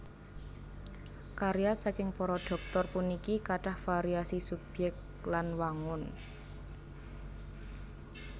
Karya saking para Dhoktor puniki kathah variasi subyèk lan wangun